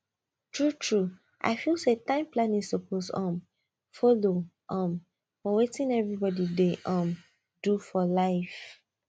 truetrue i feel say time planning suppose um follow um for wetin everybody dey um do for life